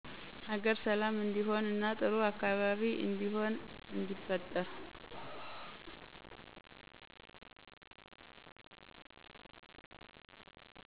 ሀገር ሠላም እንዲሆን እና ጥሩ አካባቢ እንዲሆን እንዲፈጠር